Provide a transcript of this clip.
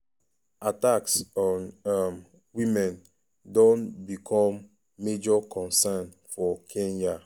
attacks on um women don become major concern for kenya.